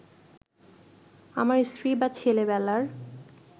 আমার স্ত্রী বা ছেলেবেলার